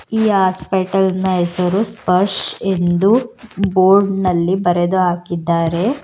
ಈ ಹಾಸ್ಪಿಟಲ್ ನ ಹೆಸರು ಸ್ಪರ್ಶ ಎಂದು ಬೋರ್ಡ್ ನಲ್ಲಿ ಬರೆದು ಹಾಕಿದ್ದಾರೆ.